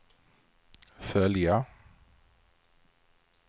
följa